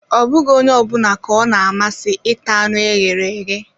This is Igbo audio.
Ọ bụghị onye ọ bụla ka ọ na amasị ịta anụ ewu e ghere eghe